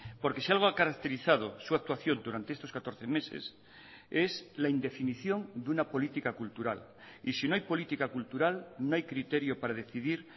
porque si algo ha caracterizado su actuación durante estos catorce meses es la indefinición de una política cultural y si no hay política cultural no hay criterio para decidir